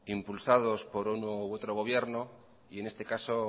impulsados por uno u otro gobierno y en este caso